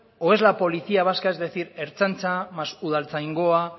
o es la policía vasca es decir ertzaintza más udaltzaingoa